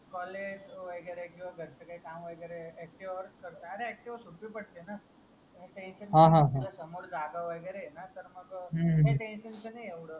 COLLEGE वगेरे किवा घरचे काही काम वगेरे ACTIVA वरच करतो अरे ACTIVA सोपी पडते न समोर जागा वागेरे आहे ना तर मग